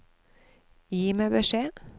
Gi meg beskjed